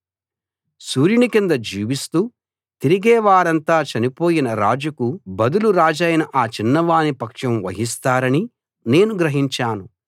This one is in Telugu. సూర్యుని కింద జీవిస్తూ తిరిగే వారంతా చనిపోయిన రాజుకు బదులు రాజైన ఆ చిన్నవాని పక్షం వహిస్తారని నేను గ్రహించాను